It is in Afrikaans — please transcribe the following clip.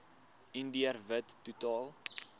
indiër wit totaal